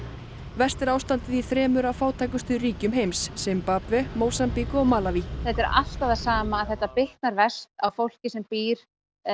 verst er ástandið í þremur af fátækustu ríkjum heims Simbabve Mósambík og Malaví þetta er alltaf það sama þetta bitnar alltaf verst á fólki sem býr